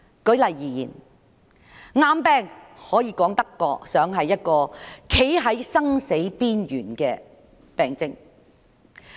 舉例而言，癌病說得上是一個讓人站在生死邊緣的病症。